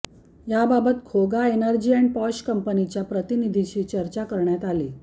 याबाबत खोगा energy and posh कंपनीच्या प्रतिनिधीशी चर्चा करण्यात आली